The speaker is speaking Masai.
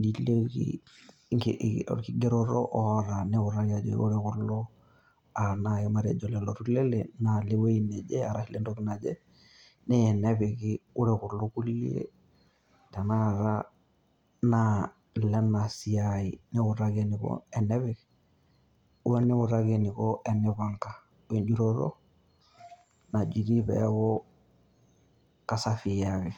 niliki orkigeroto oita, niutaki ajoki Ore kulo aa nai matejo lelo tulele naa ilewueji neje arashu ilentoki naje naa ene epiki Ore kulo kulie tenakata naa ile ena siaai niutaki eniko tenipanga oo enjutoto najutie peeku kasafii ake.